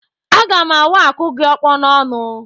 Aga m awa akụ gị ọkpọ n'ọnụ